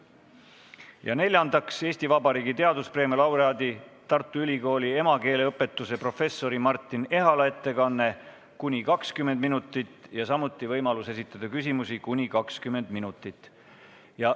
Ja neljandaks, Eesti Vabariigi teaduspreemia laureaadi, Tartu Ülikooli emakeeleõpetuse professori Martin Ehala ettekanne kuni 20 minutit ja samuti võimalus esitada küsimusi kuni 20 minutit.